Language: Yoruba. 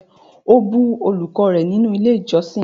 O bu olùkọ́ rẹ nínú ilé ìjósìn!